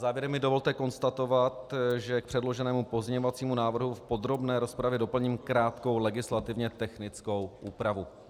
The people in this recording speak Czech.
Závěrem mi dovolte konstatovat, že k předloženému pozměňovacímu návrhu v podrobné rozpravě doplním krátkou legislativně technickou úpravu.